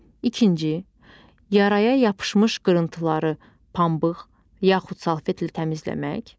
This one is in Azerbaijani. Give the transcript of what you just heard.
İkinci, yaraya yapışmış qırıntıları pambıq yaxud salfetlə təmizləmək.